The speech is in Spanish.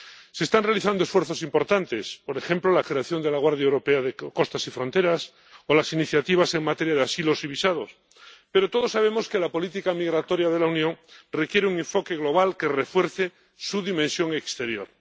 Se están realizando esfuerzos importantes —por ejemplo, la creación de la Guardia Europea de Costas y Fronteras o las iniciativas en materia de asilos y visados—, pero todos sabemos que la política migratoria de la Unión requiere un enfoque global que refuerce su dimensión exterior.